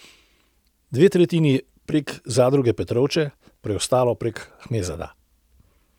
Dve tretjini prek zadruge Petrovče, preostalo prek Hmezada.